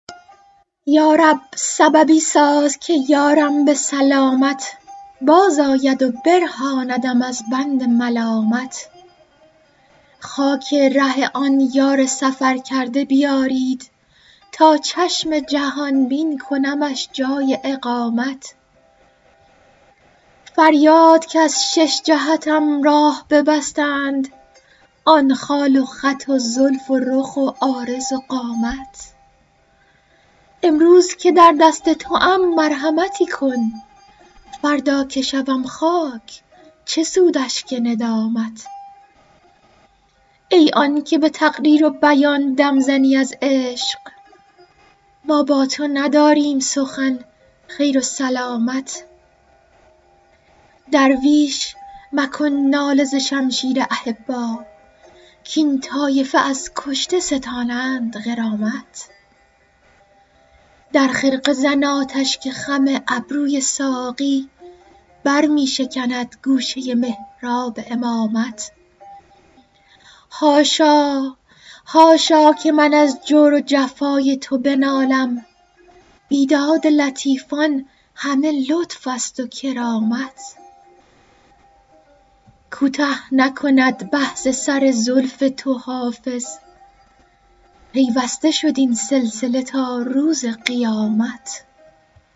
یا رب سببی ساز که یارم به سلامت بازآید و برهاندم از بند ملامت خاک ره آن یار سفرکرده بیارید تا چشم جهان بین کنمش جای اقامت فریاد که از شش جهتم راه ببستند آن خال و خط و زلف و رخ و عارض و قامت امروز که در دست توام مرحمتی کن فردا که شوم خاک چه سود اشک ندامت ای آن که به تقریر و بیان دم زنی از عشق ما با تو نداریم سخن خیر و سلامت درویش مکن ناله ز شمشیر احبا کاین طایفه از کشته ستانند غرامت در خرقه زن آتش که خم ابروی ساقی بر می شکند گوشه محراب امامت حاشا که من از جور و جفای تو بنالم بیداد لطیفان همه لطف است و کرامت کوته نکند بحث سر زلف تو حافظ پیوسته شد این سلسله تا روز قیامت